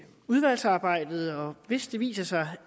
udvalgsarbejdet og hvis det viser sig